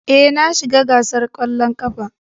Ee, na shiga gasar kwallon kafa.